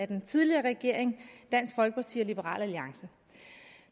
den tidligere regering dansk folkeparti og liberal alliance